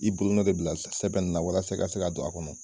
I bolonɔn de bɛ bila sɛbɛnb in walasa i ka se ka don a kɔnɔ.